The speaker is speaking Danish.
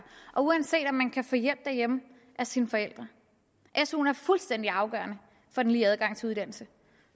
og uanset om man kan få hjælp derhjemme af sine forældre suen er fuldstændig afgørende for den lige adgang til uddannelse